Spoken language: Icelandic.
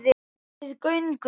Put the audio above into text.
Við göngum